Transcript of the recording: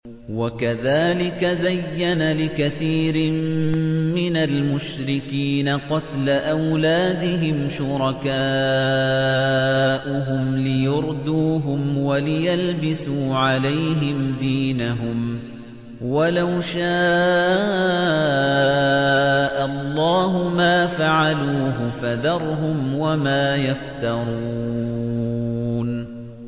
وَكَذَٰلِكَ زَيَّنَ لِكَثِيرٍ مِّنَ الْمُشْرِكِينَ قَتْلَ أَوْلَادِهِمْ شُرَكَاؤُهُمْ لِيُرْدُوهُمْ وَلِيَلْبِسُوا عَلَيْهِمْ دِينَهُمْ ۖ وَلَوْ شَاءَ اللَّهُ مَا فَعَلُوهُ ۖ فَذَرْهُمْ وَمَا يَفْتَرُونَ